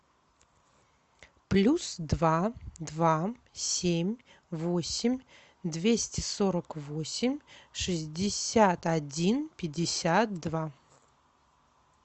плюс два два семь восемь двести сорок восемь шестьдесят один пятьдесят два